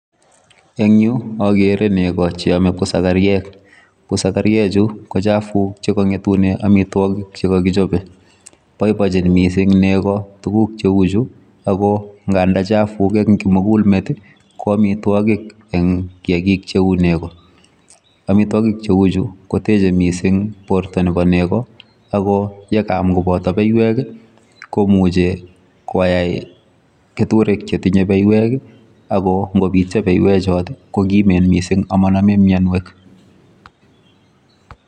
Eng yu akere nego cheome busakaryek. Busakaryechu ko chafuk chekang'etune amitwokik chekakichope. Boibochin mising nego tuguk cheu chu ako nganda chafuk eng kimugulmet ko amitwokik eng kiakik cheu nego. Amitwokik cheu chu koteche mising porto nepo nego ako yekaam kopoto beiwek komuchi koyai keturek chetinye beiwek ako ngopityo beiwechot kokimen mising amanome mienwek.